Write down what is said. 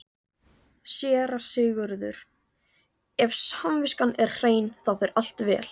SÉRA SIGURÐUR: Ef samviskan er hrein, þá fer allt vel.